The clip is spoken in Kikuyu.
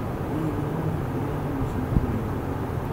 Hihi nĩũronire kũrĩa nyamũ ciigagwo ira?